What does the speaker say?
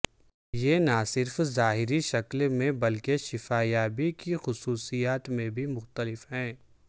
یہ نہ صرف ظاہری شکل میں بلکہ شفا یابی کی خصوصیات میں بھی مختلف ہے